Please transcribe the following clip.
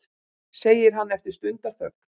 segir hann eftir stundarþögn.